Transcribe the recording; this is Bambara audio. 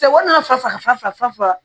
Cɛkɔrɔba faga